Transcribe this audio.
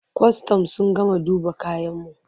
Kwastam sun gama duba kayanmu.